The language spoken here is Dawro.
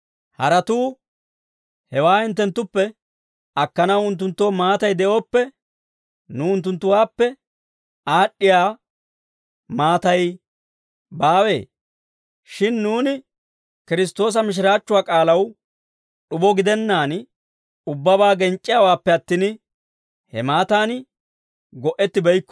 Haratuu hewaa hinttenttuppe akkanaw unttunttoo maatay de'ooppe, nuw unttunttuwaappe aad'd'iyaa maatay baawee? Shin nuuni Kiristtoosa mishiraachchuwaa k'aalaw d'ubo gidennaadan, ubbabaa genc'c'iyaawaappe attin, he maataan go"ettibeykko.